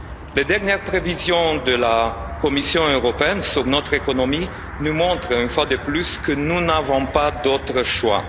Les dernières prévisions de la Commission européenne sur notre économie nous montrent, une fois de plus, que nous n'avons pas d'autre choix.